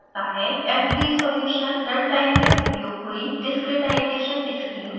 fvsolution run time में उपयोग हुई discritization schemes रखता है